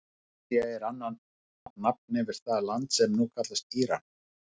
Persía er annað nafn yfir það land sem nú kallast Íran.